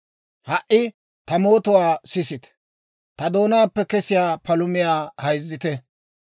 «Ha"i ta mootuwaa sisite; ta doonaappe kesiyaa palumiyaa hayzzite.